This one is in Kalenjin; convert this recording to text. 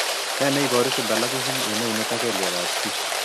Nee neiparu Symphalangism eng' eunek ak kelyek ap chii